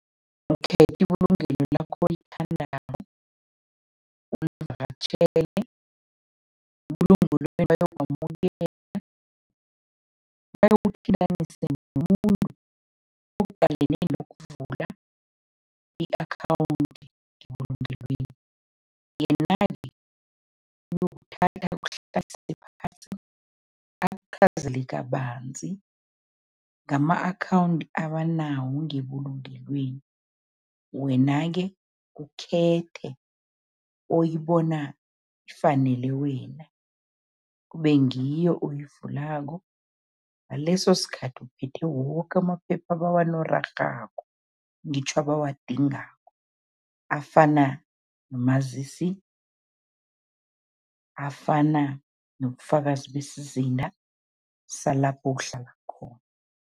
Ukhetha ibulungelo lakho olithandako, ulivakatjhele, ebulungelweni bayokwamukela, bayokuthintanisa nomuntu ukuvula i-akhawundi ngebulungelweni. Yena-ke uyokuthatha akuhlalise phasi, akuchazele kabanzi ngama-akhawundi abanawo ngebulungelweni. Wena-ke ukhethe oyibona ifanele wena, kube ngiyo oyivulako, ngaleso sikhathi uphethe woke amaphepha abawanorarhako, ngitjho abawadingako, afana nomazisi, afana nobufakazi besizinda salapho uhlala khona.